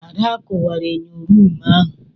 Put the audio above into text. Ada kuwara enyo ruumu ahu.